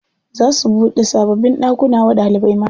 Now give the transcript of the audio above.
Za su buɗe sababbin ɗakuna wa ɗalibai mata.